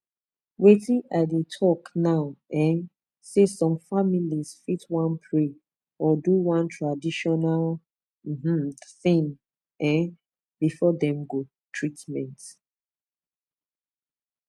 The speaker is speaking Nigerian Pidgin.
wetin i dey talk na um say some families fit wan pray or do one traditional um thing um before dem go treatment